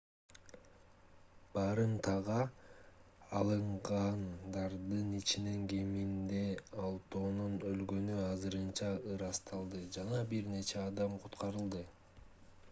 барымтага алынгандардын ичинен кеминде алтоонун өлгөнү азырынча ырасталды жана бир нече адам куткарылды